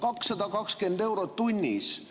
220 eurot tunnis!